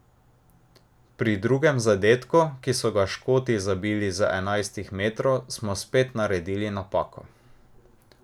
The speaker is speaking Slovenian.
Pri drugem zadetku, ki so ga Škoti zabili z enajstih metrov, smo spet naredili napako.